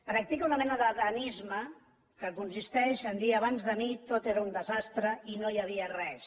practica una mena d’adamisme que consisteix a dir abans de mi tot era un desastre i no hi havia res